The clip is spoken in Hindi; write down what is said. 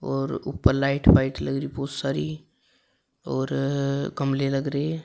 और ऊपर लाइट व्हाइट लग रही बहुत सारी और गमले लग रहे--